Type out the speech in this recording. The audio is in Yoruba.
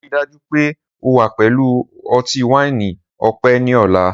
Rii daju pe o wa pẹlu ọti-waini ọpẹ ni ọla!